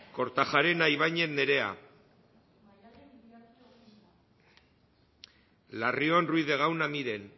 kortajarena ibañez nerea larrion ruiz de gauna miren